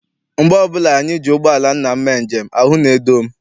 Mgbe ọbụla anyị ji ụgbọala nna m mee njem, ahụ na-edo m.